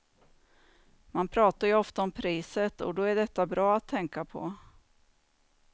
Man pratar ju ofta om priset, och då är detta bra att tänka på.